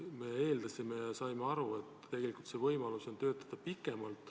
Me eeldasime, et tegelikult on võimalus töötada pikemalt.